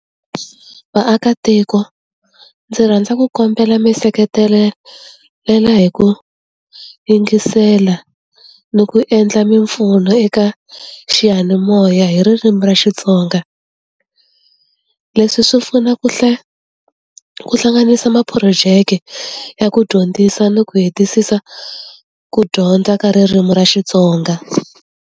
Vaakatiko ndzi rhandza ku kombela mi seketelela hi ku yingisela ni ku endla mimpfuno eka xiyanimoya hi ririmi ra Xitsonga leswi swi pfuna ku ku hlanganisa maphurojeke ya ku dyondzisa no ku hetisisa ku dyondza ka ririmi ra Xitsonga.